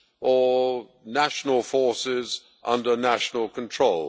Or national forces under national control?